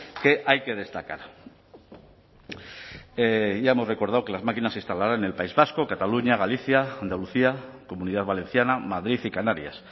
que hay que destacar ya hemos recordado que las máquinas se instalarán en el país vasco cataluña galicia andalucía comunidad valenciana madrid y canarias